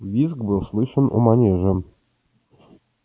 визг был слышен у манежа